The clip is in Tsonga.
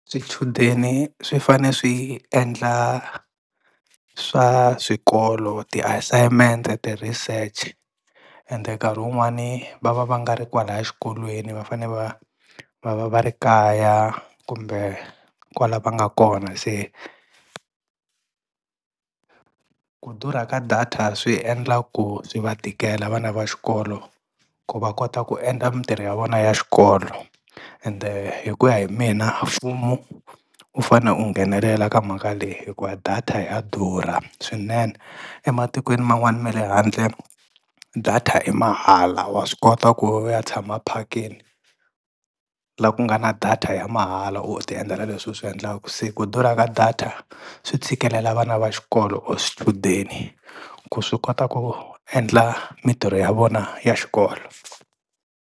Swichudeni swi fane swi endla swa swikolo ti-assignment-e ti-research ende nkarhi wun'wani va va va nga ri kwalaya xikolweni va fane va va va va ri kaya kumbe kwala va nga kona, se ku durha ka data swi endla ku swi va tikela vana va xikolo ku va kota ku endla mintirho ya vona ya xikolo, ende hi ku ya hi mina mfumo u fanele u nghenelela ka mhaka leyi hikuva data ya durha swinene. Ematikweni man'wani me le handle data i mahala wa swi kota ku u ya tshama phakeni la ku nga na data ya mahala u ti endlela leswi u swi endlaka se ku durha ka data swi tshikelela vana va xikolo or swichudeni ku swi kota ku endla mintirho ya vona ya xikolo.